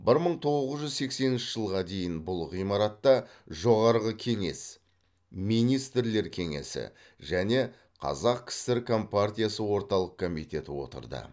бір мың тоғыз жүз сексенінші жылға дейін бұл ғимаратта жоғарғы кеңес министрлер кеңесі және қазақ кср компартиясы орталық комитеті отырды